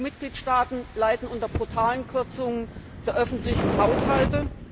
EU Mitgliedstaaten leiden unter brutalen Kürzungen der öffentlichen Haushalte.